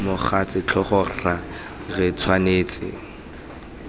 mogatse tlhogo rra re tshwanetse